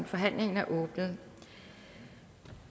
forhandlingen er åbnet